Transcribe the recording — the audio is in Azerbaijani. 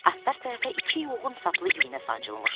Astar tərəfə iki yoğun saplı iynə sancılmışdı.